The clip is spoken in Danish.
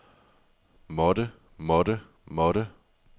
måtte måtte måtte